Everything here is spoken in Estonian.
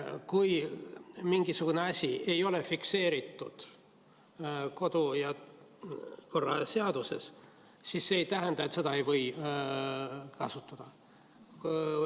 Kui mingisugune asi ei ole fikseeritud kodu- ja töökorra seaduses, siis see ei tähenda, et seda ei või kasutada.